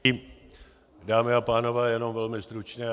Dámy a pánové, jenom velmi stručně.